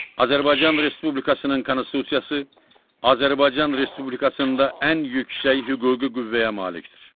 Azərbaycan Respublikasının Konstitusiyası Azərbaycan Respublikasında ən yüksək hüquqi qüvvəyə malikdir.